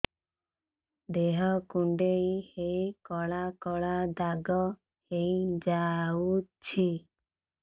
ଦେହ କୁଣ୍ଡେଇ ହେଇ କଳା କଳା ଦାଗ ହେଇଯାଉଛି